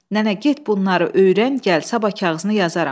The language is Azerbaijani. Nənə, get bunları öyrən, gəl sabah kağızını yazaram.